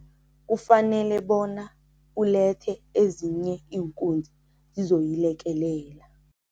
Kufanele bona ulethe ezinye iinkunzi zizoyilekelela.